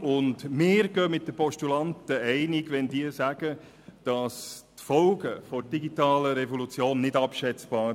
Wir gehen mit den Postulanten einig, wenn sie sagen, die Folgen der digitalen Revolution seien nicht abschätzbar.